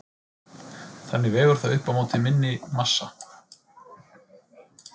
Þannig vegur það upp á móti minni massa.